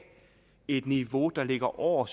et niveau der ligger over